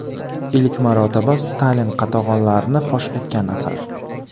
Ilk marotaba Stalin qatag‘onlarini fosh etgan asar.